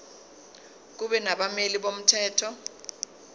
kube nabameli bomthetho